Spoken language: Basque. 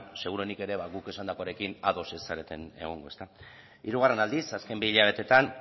seguruenik ere guk esandakoarekin ados ez zareten egongo hirugarren aldiz azken bi hilabeteetan